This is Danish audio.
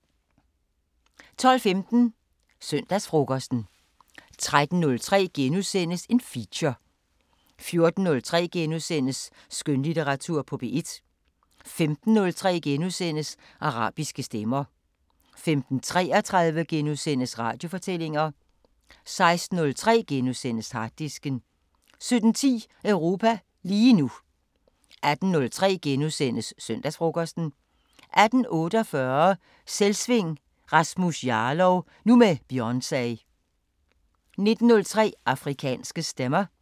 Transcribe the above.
12:15: Søndagsfrokosten 13:03: Feature * 14:03: Skønlitteratur på P1 * 15:03: Arabiske Stemmer * 15:33: Radiofortællinger * 16:03: Harddisken * 17:10: Europa lige nu 18:03: Søndagsfrokosten * 18:48: Selvsving: Rasmus Jarlov – nu med Beyoncé 19:03: Afrikanske Stemmer